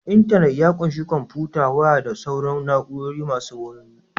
Intanit ya ƙunshi kwamfuta, waya da sauran na'urori masu wayo